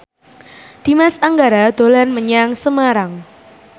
Dimas Anggara dolan menyang Semarang